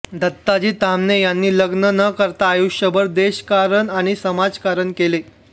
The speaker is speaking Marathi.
दत्ताजी ताम्हणे यांनी लग्न न करता आयुष्यभर देशकारण आणि समाजकारण केले